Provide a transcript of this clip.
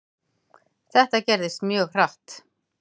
Þetta gerðist mjög hratt.